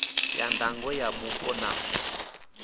ya ndango ya mupo na